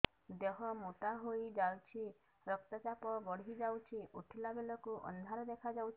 ଦେହ ମୋଟା ହେଇଯାଉଛି ରକ୍ତ ଚାପ ବଢ଼ି ଯାଉଛି ଉଠିଲା ବେଳକୁ ଅନ୍ଧାର ଦେଖା ଯାଉଛି